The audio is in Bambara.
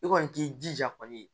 I kɔni k'i jija kɔni